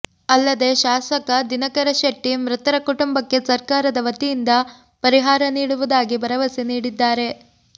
ಅಲ್ಲದೇ ಶಾಸಕ ದಿನಕರ ಶೆಟ್ಟಿ ಮೃತರ ಕುಟುಂಬಕ್ಕೆ ಸರ್ಕಾರದ ವತಿಯಿಂದ ಪರಿಹಾರ ನೀಡುವುದಾಗಿ ಭರವಸೆ ನೀಡಿದ್ದಾರೆ